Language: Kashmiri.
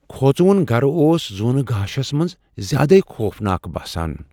كھوژوُن گھرٕ اوس زوٗنہٕ گاشس منز زیادٕے خوفناک باسان ۔